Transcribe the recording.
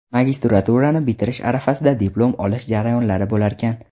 Magistraturani bitirish arafasida diplom olish jarayonlari bo‘larkan.